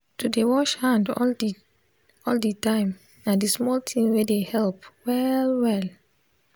to dey wash hand all the all the time na d small thing wey dey help well well